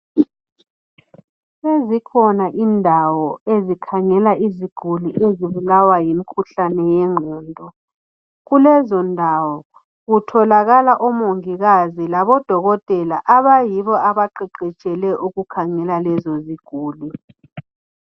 Sezikhona indawo ezikhangela iziguli ezibulawa yimikhuhlane wegqondo kulezondawo kutholakala omongikazi labo dokotela abayibo abaqeqetshele ukukhangela lezo ziguli